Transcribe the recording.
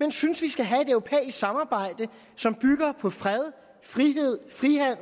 men synes vi skal have et europæisk samarbejde som bygger på fred frihed